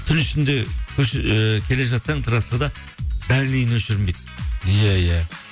түн ішінде көше ыыы келе жатсаң трассада дальныйын өшірмейді иә иә